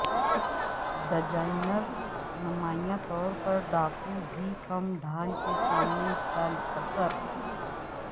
designers نمایاں طور پر ڈاکو بھی کم ڈھال کے سامنے حصہ قصر